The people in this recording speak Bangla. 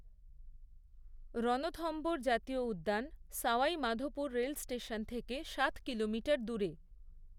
রণথম্ভোর জাতীয় উদ্যান সাওয়াই মাধোপুর রেল স্টেশন থেকে সাত কিলোমিটার দূরে।